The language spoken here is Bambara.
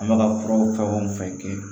An bɛka ka fura fɛn o fɛn kɛ